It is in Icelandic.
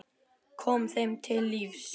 Kom þeim til lífs.